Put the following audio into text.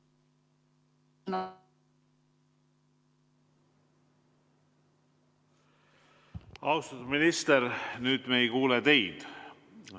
Austatud minister, nüüd me ei kuule teid.